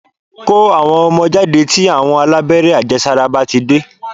Kó àwọn ọmọ jáde tí àwọn alábẹ́rẹ́ àjẹsàra bá ti dé